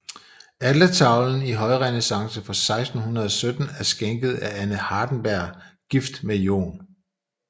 Altertavlen i højrenæssance fra 1617 er skænket af Anne Hardenberg gift med Joh